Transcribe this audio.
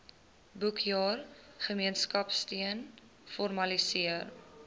boekjaar gemeenskapsteun formaliseer